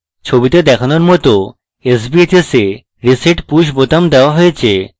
ছবিতে দেখানোর মত sbhs a reset push বোতাম দেওয়া হয়েছে